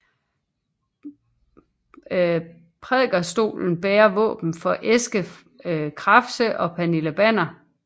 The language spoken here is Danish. Prædikestolen bærer våben for Eske Krafse og Pernille Banner